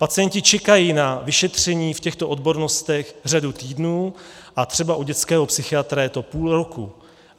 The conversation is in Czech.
Pacienti čekají na vyšetření v těchto odbornostech řadu týdnů a třeba u dětského psychiatra je to půl roku.